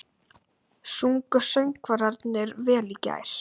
Sungu söngvararnir vel í gær?